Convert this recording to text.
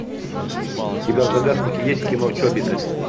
у тебя в загашнике есть кино чобиты